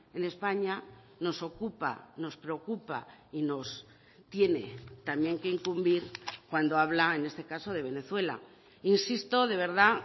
en españa nos ocupa nos preocupa y nos tiene también que incumbir cuando habla en este caso de venezuela insisto de verdad